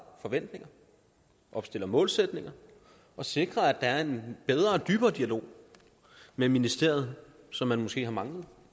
forventninger opstiller målsætninger og sikrer at der er en bedre og dybere dialog med ministeriet som man måske har manglet